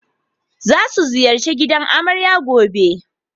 Za su ziyarci dangin amarya gobe.